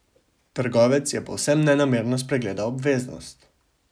Trgovec je povsem nenamerno spregledal obveznost.